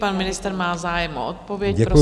Pan ministr má zájem o odpověď, prosím.